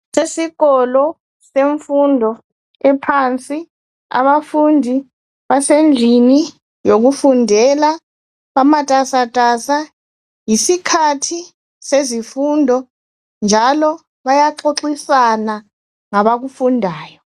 Sesikolo semfundo ephansi , abafundi basendlini yokufundela , bamatasatasa. Yisikhathi sezimfundo njalo bayaxoxisana ngabakufundayo.